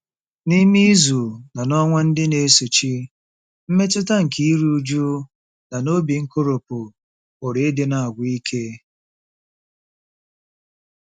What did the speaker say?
N'ime izu na ọnwa ndị na-esochi, mmetụta nke iru újú na obi nkoropụ pụrụ ịdị na-agwụ ike.